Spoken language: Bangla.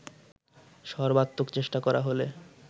সর্বাত্মক চেষ্টা করা হলে